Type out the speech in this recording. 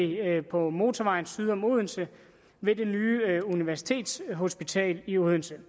på motorvejen syd om odense ved det nye universitetshospital i odense